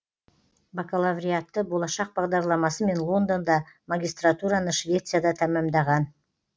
бакалавриатты болашақ бағдарламасымен лондонда магистратураны швецияда тәмәмдаған